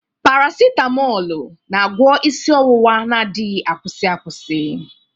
Paracitamoolu na-agwọ isi ọwụwa na adighi akwusi akwusi.